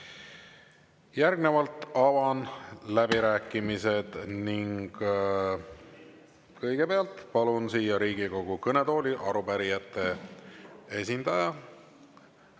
Järgnevalt avan läbirääkimised ning kõigepealt palun siia Riigikogu kõnetooli arupärijate esindaja.